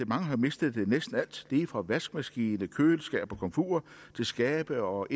mange har jo mistet næsten alt det lige fra vaskemaskiner køleskabe og komfurer til skabe og